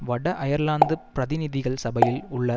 வட அயர்லாந்து பிரதிநிதிகள் சபையில் உள்ள